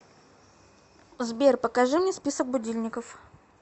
сбер покажи мне список будильников